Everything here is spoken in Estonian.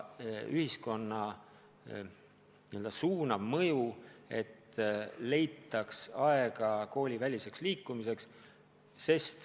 Ning ühiskonna suunav mõju peab olema selline, et leitaks aega kooliväliseks liikumiseks.